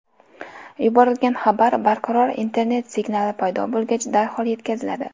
Yuborilgan xabar barqaror internet signali paydo bo‘lgach, darhol yetkaziladi.